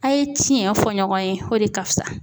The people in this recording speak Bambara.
A' ye tiɲɛ fɔ ɲɔgɔn ye o de ka fusa